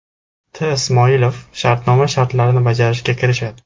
T.Ismoilov shartnoma shartlarini bajarishga kirishadi.